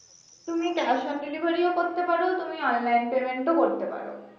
তুমি cash on delivery ও করতে পারো তুমি online payment ও করতে পারো।